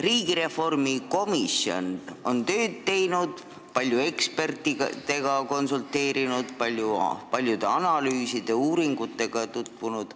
Riigireformi komisjon on tööd teinud, paljude ekspertidega konsulteerinud ning paljude analüüside ja uuringutega tutvunud.